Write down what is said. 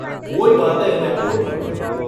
કોઇ વાતે એને ખોટ નહોતી.